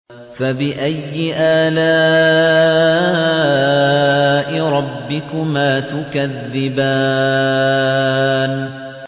فَبِأَيِّ آلَاءِ رَبِّكُمَا تُكَذِّبَانِ